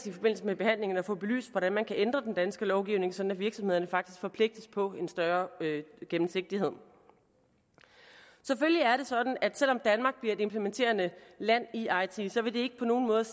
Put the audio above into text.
i forbindelse med behandlingen at få belyst hvordan man kan ændre den danske lovgivning sådan at virksomhederne faktisk forpligtes på en større gennemsigtighed selvfølgelig er det sådan at det selv om danmark bliver et implementerende land i eiti ikke på nogen måde